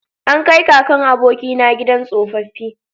An kai kakan abokina gidan tsofaffi